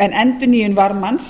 en endurnýjun varmans